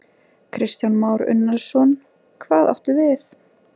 Kristján Már Unnarsson: Hvað áttu við?